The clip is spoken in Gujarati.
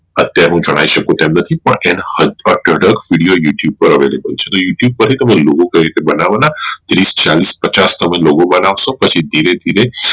અત્યારે હું જણાઈ શકું આમ નથી પણ એનો video youtube પર Available છે તો toutube પરથી તંમારે કઈ રીતે બનવાના એની ચાલીશ પચાસ તમેં logo બનાવશો તો પછી ધીરે ધીરે